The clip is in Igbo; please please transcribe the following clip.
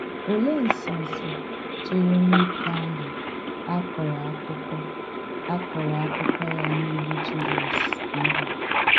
Òlee ǹsọ́nsọ̀ chèrè nwókè àhụ̀ a kọ̀rọ̀ àkụ́kọ́ a kọ̀rọ̀ àkụ́kọ́ ya n’ìlù Jizọs íhù?